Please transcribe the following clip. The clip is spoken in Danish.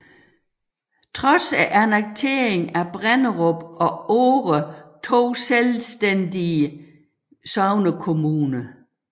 Trods annekteringen var Brenderup og Ore to selvstændige sognekommuner